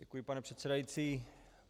Děkuji, pane předsedající.